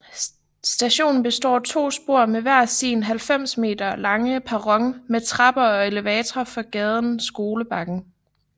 Stationen består af to spor med hver sin 90 m lange perron med trapper og elevatorer fra gaden Skolebakken